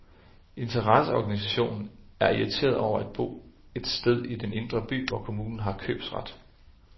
Interesseorganisationen er irriteret over at bo et sted i den indre by, hvor kommunen har købsret.